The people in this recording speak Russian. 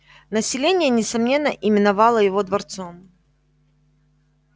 население несомненно именовало его дворцом